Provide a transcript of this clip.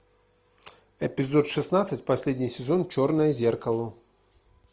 эпизод шестнадцать последний сезон черное зеркало